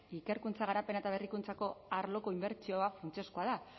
ikerkuntza garapena eta berrikuntzako arloko inbertsioa funtsezkoa da